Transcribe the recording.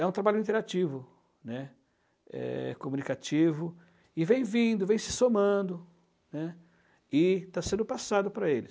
é um trabalho interativo, né, é comunicativo, e vem vindo, vem se somando, e está sendo passado para eles.